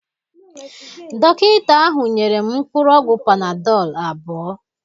Dọkịta ahụ nyere m mkpụrụ ọgwụ panadol abụọ.